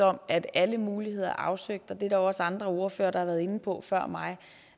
om at alle muligheder er afsøgt og der er også andre ordførere der har været inde på før mig